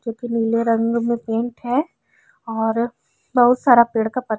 जो कि नीले रंग में पेंट है और बोहोत सारा पेड़ का पत्त --